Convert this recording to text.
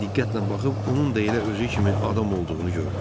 Ancaq diqqətlə baxıb, onun da elə özü kimi adam olduğunu gördü.